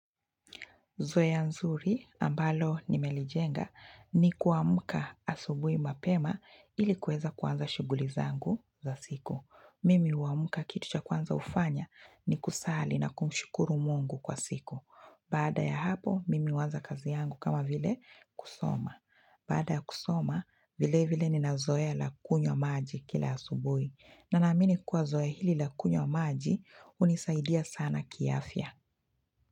Zoea nzuri ambalo nimelijenga ni kuamuka asubui mapema ili kueza kuanza shuguli zangu za siku. Mimi huamuka kitucha kwanza ufanya ni kusali na kumshukuru mungu kwa siku. Baada ya hapo, mimi uanza kazi yangu kama vile kusoma. Baada kusoma, vile vile ninazoe la kunywa maji kila asubui. Nanaamini kwa zoea hili la kunywa maji unisaidia sana kiafya.